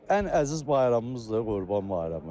Ən əziz bayramımızdır Qurban bayramı.